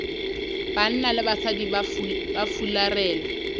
banna le basadi ba fularela